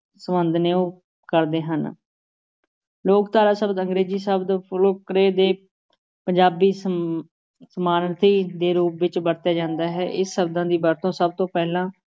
ਸੰਬੰਧ ਨੇ ਉਹ ਕਰਦੇ ਹਨ ਲੋਕ-ਧਾਰਾ ਸ਼ਬਦ ਅੰਗਰੇਜ਼ੀ ਸ਼ਬਦ ਦੇ ਪੰਜਾਬੀ ਸਮ ਸਮਾਨਾਰਥੀ ਦੇ ਰੂਪ ਵਿਚ ਵਰਤਿਆ ਜਾਂਦਾ ਹੈ, ਇਹ ਸ਼ਬਦਾਂ ਦੀ ਵਰਤੋਂ ਸਭ ਤੋਂ ਪਹਿਲਾਂ